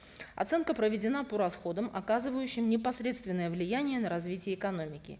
оценка проведена по расходам оказывающим непосредственное влияние на развитие экономики